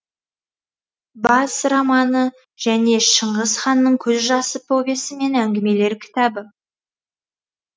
бас романы және шыңғыс ханның көз жасы повесі мен әңгімелер кітабы